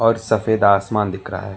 और सफेद आसमान दिख रहा है।